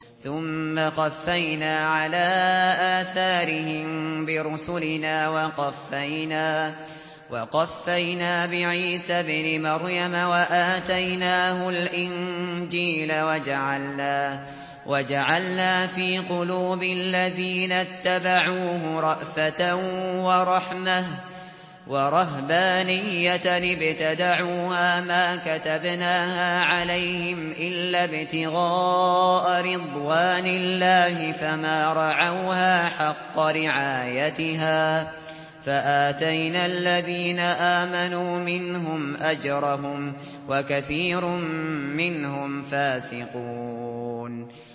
ثُمَّ قَفَّيْنَا عَلَىٰ آثَارِهِم بِرُسُلِنَا وَقَفَّيْنَا بِعِيسَى ابْنِ مَرْيَمَ وَآتَيْنَاهُ الْإِنجِيلَ وَجَعَلْنَا فِي قُلُوبِ الَّذِينَ اتَّبَعُوهُ رَأْفَةً وَرَحْمَةً وَرَهْبَانِيَّةً ابْتَدَعُوهَا مَا كَتَبْنَاهَا عَلَيْهِمْ إِلَّا ابْتِغَاءَ رِضْوَانِ اللَّهِ فَمَا رَعَوْهَا حَقَّ رِعَايَتِهَا ۖ فَآتَيْنَا الَّذِينَ آمَنُوا مِنْهُمْ أَجْرَهُمْ ۖ وَكَثِيرٌ مِّنْهُمْ فَاسِقُونَ